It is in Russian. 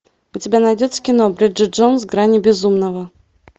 у тебя найдется кино бриджит джонс грани безумного